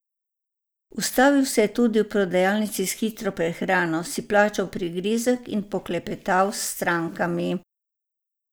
Ustavil se je tudi v prodajalnici s hitro prehrano, si plačal prigrizek in poklepetal s strankami.